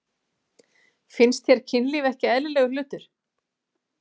Finnst þér kynlíf ekki eðlilegur hlutur?